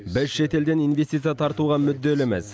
біз шет елден инвестиция тартуға мүдделіміз